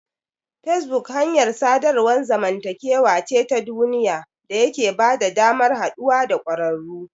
Facebook hanyar sadarwar zamantakewa ce ta duniya da yake bada damar haɗuwa da ƙwararru.